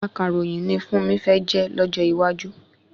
Akàròyìn ni Fúnmi fẹ́ jẹ́ lójó iwájú